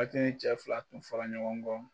cɛ fila tun fɔra ɲɔgɔn kɔ.